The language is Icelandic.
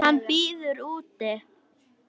Hann bíður úti.